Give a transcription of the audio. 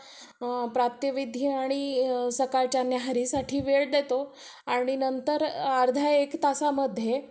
अ प्रत्यविधी आणि सकाळच्या न्याहारी साठी वेळ देतो. आणि नंतर अर्ध्या एक तासामध्ये